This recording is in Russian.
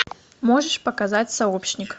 можешь показать сообщник